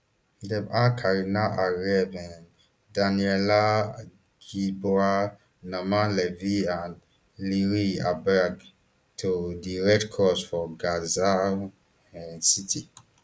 dem hand karina ariev um daniella gilboa naama levy and liri albag to di red cross for gaza um city